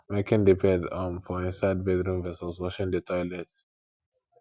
making the bed um for inside bedroom vs washing the toilet